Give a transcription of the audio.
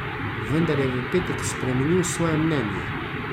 Vendar je v petek spremenil svoje mnenje.